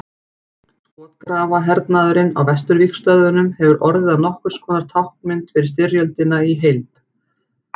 Skotgrafahernaðurinn á vesturvígstöðvunum hefur orðið að nokkurs konar táknmynd fyrir styrjöldina í heild.